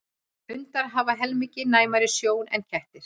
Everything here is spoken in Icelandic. Hundar hafa helmingi næmari sjón en kettir.